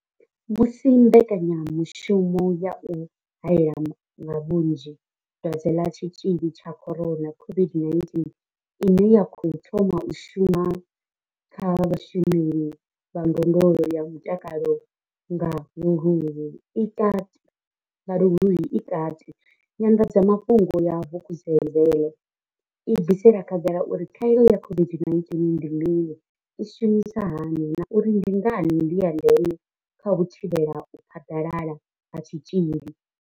Musi mbekanyamushumo ya u hae la nga vhunzhi Dwadze ḽa Tshitzhili tsha corona COVID-19 ine ya khou thoma u shuma kha vhashumeli vha ndondolo ya mutakalo nga luhuhi i kati, nyanḓadzamafhungo ya Vukuzenzele i bvisela khagala uri khaelo ya COVID-19 ndi mini, i shumisa hani na uri ndi ngani i ya ndeme kha u thivhela u phaḓalala ha tshitzhili.